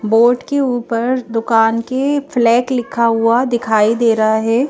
Board के ऊपर दुकान के फ्लैक लिखा हुआ दिखाई दे रहा है।